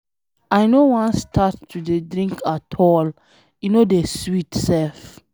I no wan start to dey drink at all, e no dey sweet sef.